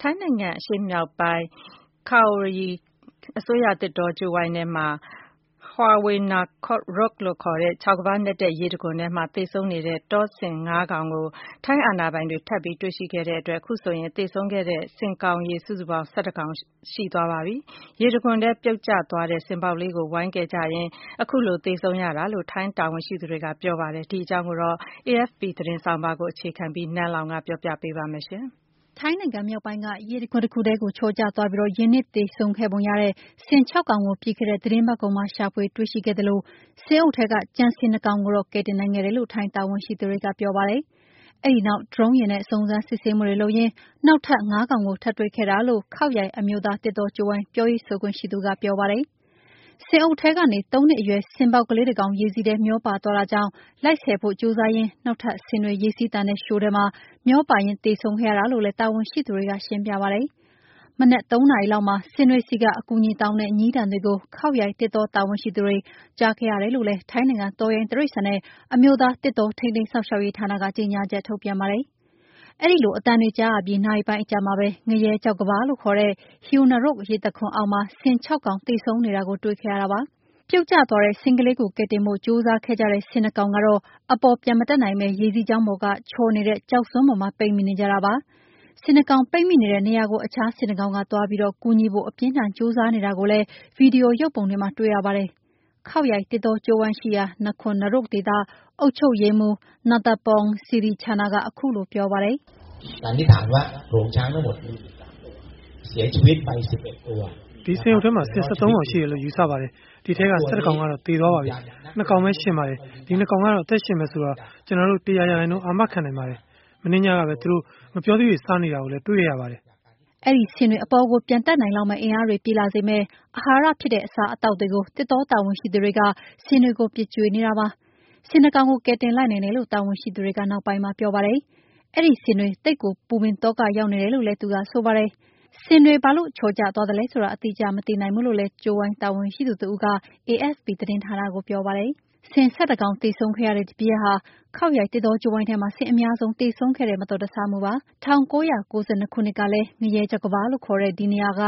ထိုင်းနိုင်ငံ အရှေ့မြောက်ပိုင်း Khao Yai အစိုးရ သစ်တောကြိုးဝိုင်းထဲက Haew Narok လို့ခေါ်တဲ့ ချောက်ကမ်းပါးတွေနက်တဲ့ ရေတံခွန်ထဲမှာ သေဆုံးနေတဲ့ တောဆင် ၅ ကောင်ကို ထိုင်းအာဏာပိုင်တွေ ထပ်ပြီးတွေ့ရှိခဲ့တဲ့အတွက် ခုဆိုရင် သေဆုံးခဲ့တဲ့ ဆင်ကောင်ရေ စုစုပေါင်း ဆင် ၁၁ ကောင် ရှိသွားပါပြီ။ ရေတံခွန်ထဲ ပြုတ်ကျသွားတဲ့ ဆင်ပေါက်ကလေးကို ဝိုင်းကယ်ဖို့လုပ်ရင်း ခုလို သေဆုံးရတာလို့ ထိုင်းတာဝန်ရှိသူတွေက ပြောပါတယ်။ ဒီအကြောင်း AFP သတင်းဆောင်းပါးကို အခြေခံပြီး နန်းလောင်ဝ်က တင်ပြထားပါတယ်။ ထိုင်းနိုင်ငံမြောက်ပိုင်းက ရေတံခွန်ထဲကို ချော်ကျသွားပြီး ရေနစ်သေဆုံံးခဲ့ပုံရတဲ့ ဆင် ၆ ကောင်ကို ပြီးခဲ့တဲ့ သီတင်းပတ်ကုန်မှာ ရှာဖွေတွေ့ရှိခဲ့သလို ဆင်အုပ်ထဲက ကျန်ဆင် ၂ ကောင်ကိုတော့ ကယ်တင်နိုင်ခဲ့တယ်လို့ ထိုင်းတာဝန်ရှိသူတွေ ပြောပါတယ်။ အဲဒီနောက် ဒရုံးယာဉ်နဲ့ စုံစမ်းစစ်ဆေးမှုတွေ လုပ်ရင်း နောက်ထပ် ငါးကောင်ကို Khao Yai သစ်တောကြိုးဝိုင်း ပြောရေးဆိုခွင့်ရှိသူက ပြောပါတယ်။ ဆင်အုပ်ထဲကနေ သုံးနှစ်အရွယ် ဆင်ငယ်လေးတကောင် ရေစီးထဲမှာ မျောပါသွားတာကြောင့် လိုက်ဆယ်ဖို့ ကြိုးစားရင် နောက်ထပ် ဆင်တွေ ရေစီးသန်တဲ့ လျှိုထဲမှာ မျောပါရင်း ထပ်သေဆုံးခဲ့တာလို့လည်း တာဝန်ရှိသူက ရှင်းပြပါတယ်။ မနက် ၃ နာရီလောက်မှာ ဆင်တွေဆီက အကူအညီတောင်းတဲ့ ညည်းသံတွေကို Khap Yai သစ်တော တာဝန်ရှိသူတွေ ကြားခဲ့ရတယ်လို့လည်း ထိုင်းနိုင်ငံ၊ တောရိုင်းတိရစ္ဆာန်နဲ့ အမျိုးသားသစ်တော ထိန်းသိမ်းစောင့်ရှောက်ရေးဌာနက ကြေငြာချက်ထုတ်ပြန်ပါတယ်။ အဲဒီလိုအသံတွေကြားရပြီး နာရီပိုင်းအကြာမှာပဲ ငရဲခြောက်ကမ်းပါး လို့ခေါ်တဲ့ Haew Narok ရေတံခွန်အောက်မှာ ဆင် ခြောက် ကောင် သေဆုံးနေတာကို တွေ့ခဲ့ရတာပါ။ ပြုတ်ကျသွားတဲ့ ဆင်ကလေးကို ကယ်တင်ဖို့ ကြိုးစားတဲ့ ဆင် နှစ် ကောင်ကတော့ အပေါ် ပြန်မတက်နိုင်ပဲ ရေစီးကြောင်းပေါ်က ချော်နေတဲ့ ကျောက်စွန်းပေါ်မှာ ပိတ်မိနေကြတာပါ။ ဆင် ၂ ကောင် ပိတ်မိနေတဲ့ နေရာကို အခြားဆင်တကောင်က သွားပြီးကူညီဖို့ အပြင်းအထန် ကြိုးစားနေတာကိုလည်း ဗွီဒီယိုရုပ်ပုံတွေမှာ တွေ့ရပါတယ်။ Khao Yai သစ်တောကြိုးဝိုင်းရှိရာ Nakhon Nayok ဒေသ အုပ်ချုပ်ရေးမှူး Nattapong Sirichanna က ခုလိုပြောပါတယ်။ “ ဒီဆင်အုပ်ထဲမှာ ဆင် ၁၃ ကောင်ရှိတယ်လို့ ယူဆရပါတယ်။ ဒီထဲက ၁၁ ကောင်ကတော့ သေဆုံးသွားပါပြီ။ ၂ ကောင်ရှင်ပါတယ်။ ဒီ၂ ကောင် အသက်ရှင်မယ်ဆိုတာ ကျနော်တို့ ၁၀၀ ရာခိုင်နှုန်း အာမခံနိုင်ပါတယ်။ မနေ့ညကပဲ သုူတို့ ဌက်ပျောသီးတွေ စားနေတာကို မြင်ခဲ့ရပါတယ်။” အဲဒီဆင်တွေ အပေါ်ကို ပြန်တက်နိုင်လောက်မယ့် အင်အားတွေပြည့်လာစေမယ့် အာဟာရဖြစ်တဲ့ အစားအသောက်တွေကိုသစ်တော တာဝန်ရှိသူတွေက ဆင်တွေပို ပစ်ကျွေးနေကြပါတယ်။ ဆင် ၂ ကောင်ကို ကယ်တယ်လိုက်နိုင်တယ်လို့ တာဝန်ရှိသူတွေကပြောပါတယ်။ အဲဒီဆင်တွေ သိပ်ကို ပူပင်သောက ရောက်နေကြတယ်လို့လည်း ပြောပါတယ်။ ဆင်တွေ ဘာလို့ ချော်ကသွားသလဲဆိုတာ အတိအကျမသိနိုင်ဘူးလို့ ကြိုးဝိုင်းတာဝန်ရှိသူ Sompoh Maneerat က AFP သတင်းဌာနကို ပြောပါတယ်။ ဆင် ၁၁ ကောင်သေဆုံးခဲ့ရတဲ့ဒီဖြစ်ရပ်ဟာKhao Yai သစ်တောကြိုးဝိုင်းထဲမှာ ဆင်အများဆုံး သေဆုံးတဲ့ မတော်တဆမှုဖြစ်ပါတယ်။ ၁၉၉၂ ခုနှစ်ကလည်း ငရဲခြောက်ကမ်းပါး လို့ ခေါ်ကြတဲ့ ဒီ ပေ ၂၆